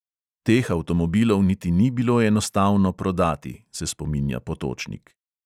Teh avtomobilov niti ni bilo enostavno prodati, se spominja potočnik.